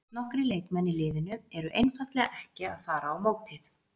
Nokkrir leikmenn í liðinu eru einfaldlega ekki að fara á mótið.